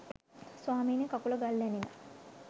ස්වාමීනි කකුල ගල් ඇනිලා